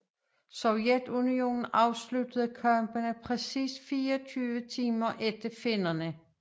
Sovjetunionen afsluttede kampene præcis 24 timer efter finnerne